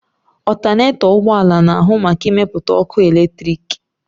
Ọltanetọ ụgbọala na-ahụ maka ịmepụta ọkụ eletriki.